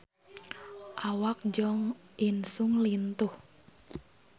Awak Jo In Sung lintuh